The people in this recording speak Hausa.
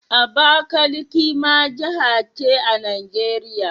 Abakaliki ma jiha ce a Najeriya?